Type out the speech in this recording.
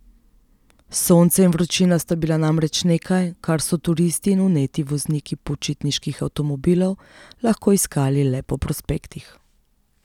Sonce in vročina sta bila namreč nekaj, kar so turisti in vneti vozniki počitniških avtomobilov lahko iskali le po prospektih.